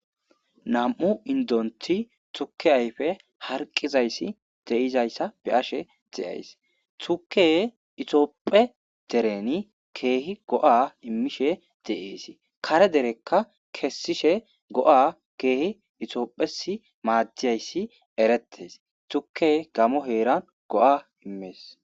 nam7u indonthi tukke ayfe harqizayssi de7izayssa be'ashe xiyays tuke itoopphe dereni keehi go7a immishe deesi kare derekka kessishe go7a keehi itoophes maaddiyayssi erettes tuke gamo heeran go7a immees